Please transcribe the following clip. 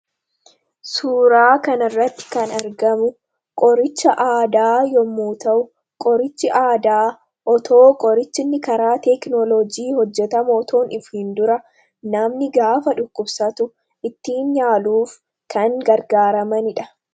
Suuraa kan irratti kan argamu, qoricha aadaa yemmuu ta'u. Qorichi aadaa otoo qorichi inni karaa teeknoloojii hojjetamu otoo hin dhufiin dura, namni gaafa dhukkubsatu ittiin yaaluuf kan gargaaramanidha.